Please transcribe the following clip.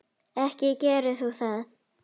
Ekki gerir þú það!